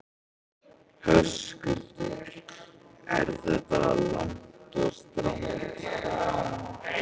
Höskuldur: Er þetta langt og strangt nám?